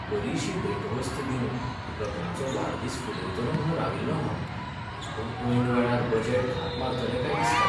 बरीशी भेटवस्त दिवन लग्नाचो वाडदीस फुलयतलों म्हूण राविल्लों हांव. पूण ऐन वेळार बजेट घात मारतलें काय दिसता.